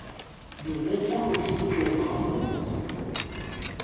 megopolo ke go tloga go